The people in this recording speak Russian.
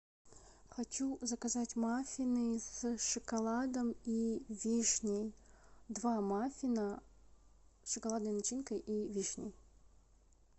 хочу заказать маффины с шоколадом и вишней два маффина с шоколадной начинкой и вишней